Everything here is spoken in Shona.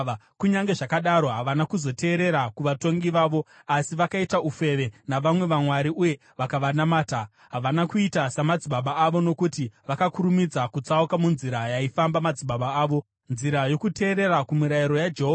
Kunyange zvakadaro havana kuzoteerera kuvatongi vavo asi vakaita ufeve navamwe vamwari uye vakavanamata. Havana kuita samadzibaba avo, nokuti vakakurumidza kutsauka munzira yaifamba madzibaba avo, nzira yokuteerera kumirayiro yaJehovha.